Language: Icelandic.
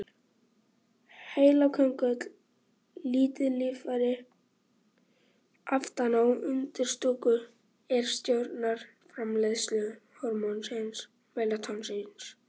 Heilaköngull er lítið líffæri aftan á undirstúku er stjórnar framleiðslu hormónsins melatóníns.